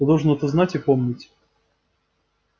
ты должен это знать и помнить